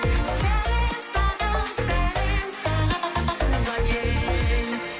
сәлем саған сәлем саған туған ел